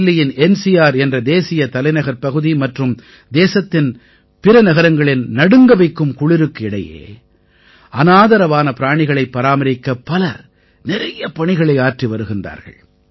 தில்லியின் என்சிஆர் என்ற தேசிய தலைநகர்ப் பகுதி மற்றும் தேசத்தின் பிற நகரங்களின் நடுங்கவைக்கும் குளிருக்கு இடையே அநாதரவான பிராணிகளைப் பராமரிக்க பலர் நிறைய பணிகளை ஆற்றி வருகின்றார்கள்